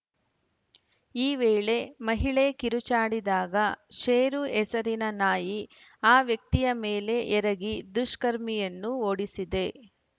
ಈ ವೇಳೆ ಮಹಿಳೆ ಕಿರುಚಾಡಿದಾಗ ಶೆರು ಹೆಸರಿನ ನಾಯಿ ಆ ವ್ಯಕ್ತಿಯ ಮೇಲೆ ಎರಗಿ ದುಷ್ಕರ್ಮಿಯನ್ನು ಓಡಿಸಿದೆ